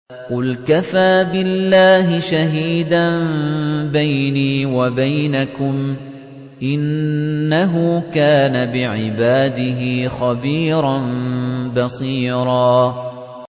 قُلْ كَفَىٰ بِاللَّهِ شَهِيدًا بَيْنِي وَبَيْنَكُمْ ۚ إِنَّهُ كَانَ بِعِبَادِهِ خَبِيرًا بَصِيرًا